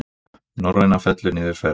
Norræna fellir niður ferð